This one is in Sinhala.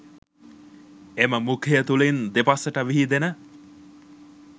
එම මුඛය තුළින් දෙපසට විහිදෙන